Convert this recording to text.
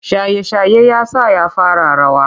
Shaye-shaye ya sa ya fara rawa.